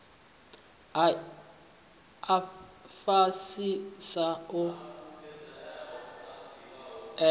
a fhasisa a u ela